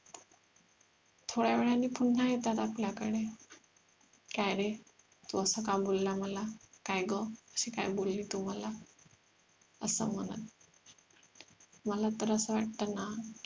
थोड्यावेळाने पुन्हा येतात आपल्याकडे काय रे तू असं का बोलला मला काय गं अशी काय बोलली तू मला असं म्हणत मला तर असं वाटण ना